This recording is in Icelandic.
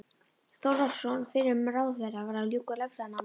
Þórðarson fyrrum ráðherra, var að ljúka lögfræðinámi.